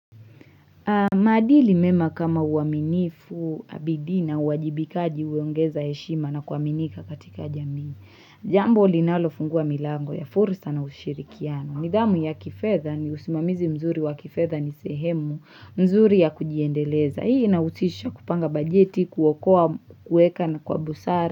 Maadili mema kama uaminifu abidii na uwajibikaji huiongeza yeshima na kuaminika katika jamii. Jambo linalofungua milango ya fursa na ushirikiano. Nidhamu ya kifedha ni usimamizi mzuri wa kifedha ni sehemu nzuri ya kujiendeleza. Hii ina husisha kupanga bajeti, kuokoa, kuweka na kwa busara.